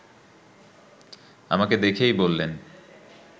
আমাকে দেখেই বললেন